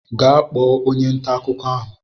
Gaa kpọọ onye ntà akụkọ ahụ!